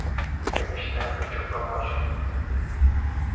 конечно я хочу помочь им